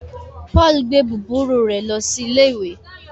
Paul gbé búburú rẹ lo sí ìlé ìwé